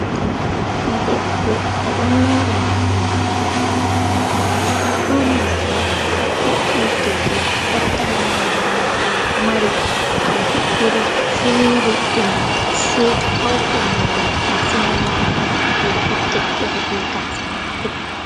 Debbo o ɗon mori morɗi mako gasa mako ɓaleha kurum morɗi mako boɗɗi deidai ko fottani mo nda morɗi man ɗo mari paune iri fire ɗum se ɓauɗo mo roɓe massin on wawata waɗugo oɗo waɗi tekkere be gasa mako.